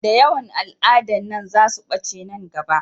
Da yawan al'adan nan za su ɓace nan gaba